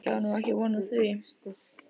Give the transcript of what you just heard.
Ég á nú ekki von á því.